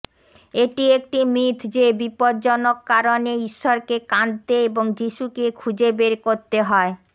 এটি একটি মিথ যে বিপজ্জনক কারনে ঈশ্বরকে কাঁদতে এবং যীশুকে খুঁজে বের করতে হয়